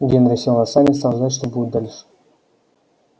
генри сел на сани и стал ждать что будет дальше